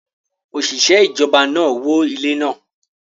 Oṣiṣẹ ijọba naa wó ile naa